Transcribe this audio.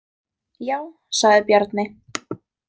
Já, sagði Bjarni.